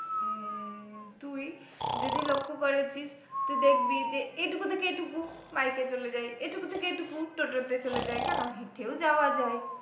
তুই যদি লক্ষ্য করেছিস তো দেখবি যে এটুকু থেকে এটুকু bike এ চলে যাই এটুকু থেকে এটুকু toto তে চলে যাই কেন হেটেও যাওয়া যাই